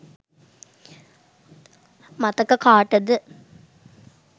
මතක කාටද